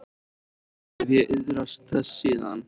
Oft hef ég iðrast þess síðan.